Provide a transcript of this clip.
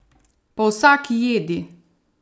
Po vsaki jedi!